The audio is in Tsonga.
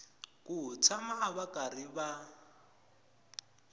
ku tshama va karhi va